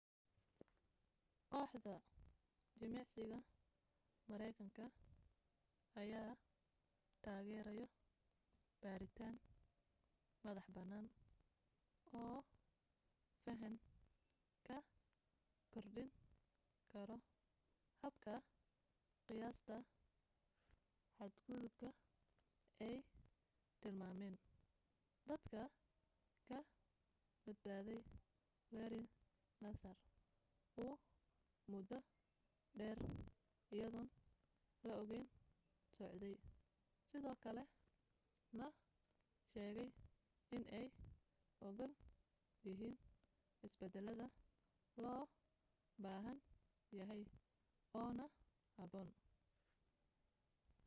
kooxda jimicsiga maraykanka ayaa taageereyo baaritaan madax banaan oo fahan ka kordhin karo habka qiyaasta xadgudubka ay tilmaameen dadka ka badbaaday larry nassar uu muddo dheer iyadoon la ogayn socday sidoo kale na sheegay inay ogol yihiin isbedelada loo baahan yahay oo na habboon